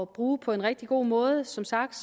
bruge på en rigtig god måde som sagt